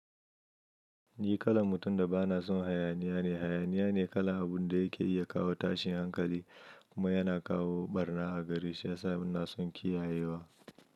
Ni kalan mutum da bana son hayaniya ne. Hayaniya ne kalan abun da yake iya kawo tashin hankali kuma yana kawo barna a gare shi. Ya sa banason kiyayewa.